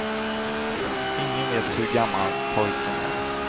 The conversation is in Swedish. Ingen vet hur gammal pojken är.